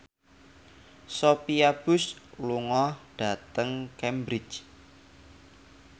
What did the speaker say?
Sophia Bush lunga dhateng Cambridge